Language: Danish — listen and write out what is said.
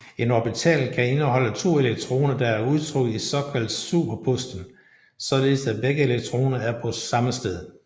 En orbital kan indeholde to elektroner der er udtrukket i såkaldt superposition således at begge elektroner er på samme sted